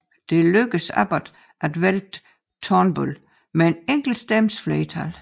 Det lykkedes Abbott at vælte Turnbull med en enkelt stemmes flertal